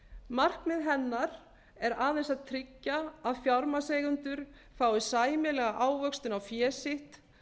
markmið hennar er aðeins að tryggja að fjármagnseigendur fái sæmilega ávöxtun á fé sitt